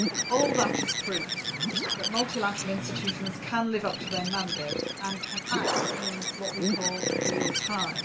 All that is proof that multilateral institutions can live up to their mandate and can act in what we call real time.